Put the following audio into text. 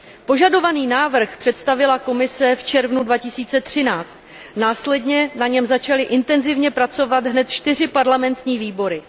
Požadovaný návrh představila Komise v červnu 2013, následně na něm začaly intenzivně pracovat hned čtyři parlamentní výbory.